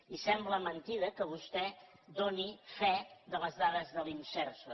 i sembla mentida que vostè doni fe de les dades de l’imserso